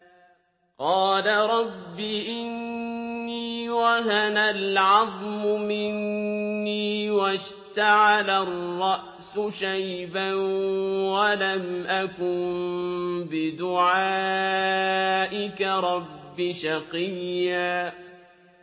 قَالَ رَبِّ إِنِّي وَهَنَ الْعَظْمُ مِنِّي وَاشْتَعَلَ الرَّأْسُ شَيْبًا وَلَمْ أَكُن بِدُعَائِكَ رَبِّ شَقِيًّا